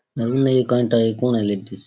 अरुण आई कण तै कौन है इलेक्ट्रीस --